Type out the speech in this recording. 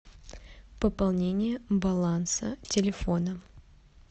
пополнение баланса телефона